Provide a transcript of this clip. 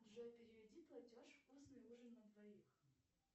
джой переведи платеж вкусный ужин на двоих